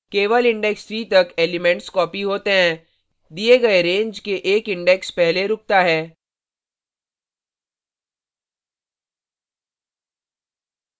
केवल index 3 तक elements copied होते हैं दिए गए range के एक index पहले रूकता है